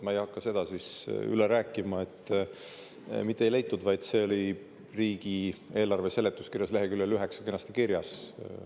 Ma ei hakka seda üle rääkima, et mitte ei leitud, vaid see oli riigieelarve seletuskirjas leheküljel 9 kenasti kirjas.